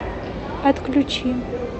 отключи